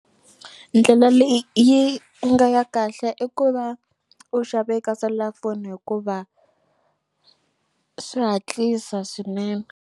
Ndlela leyi yi nga ya kahle i ku va u xave ka selulafoni hikuva swi hatlisa swinene.